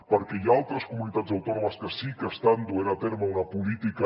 perquè hi ha altres comunitats autònomes que sí que estan duent a terme una política